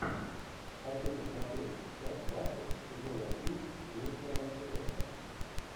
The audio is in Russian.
хочу посмотреть часть двадцать сезона три мистера мерседеса